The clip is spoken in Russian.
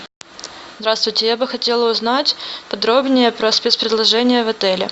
здравствуйте я бы хотела узнать подробнее про спец предложения в отеле